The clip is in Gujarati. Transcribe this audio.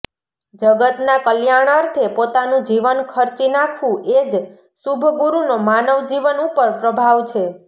જગતનાં કલ્યાણઅર્થે પોતાનું જીવન ખર્ચી નાખવું એ જ શુભ ગુરુનો માનવજીવન ઉપર પ્રભાવ છે